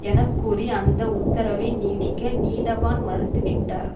என கூறி அந்த உத்தரவை நீடிக்க நீதவான் மறுத்துவிட்டார்